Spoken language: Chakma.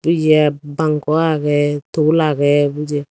yep bankun agey tebul agey bujep.